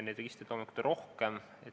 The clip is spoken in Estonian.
Neid registreid on loomulikult rohkem.